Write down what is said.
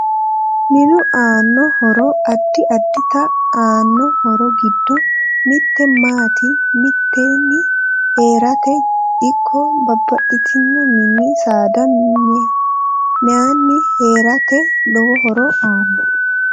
Minu aano horo addi addite aano horo giddo mitte maate miteeni heerate ikko babaxitino mini saada miyeeni heerate lowo horo aanno